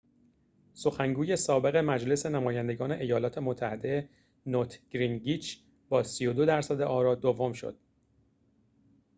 سخنگوی سابق مجلس نمایندگان ایالات متحده نوت گینگریچ با ۳۲ درصد آرا دوم شد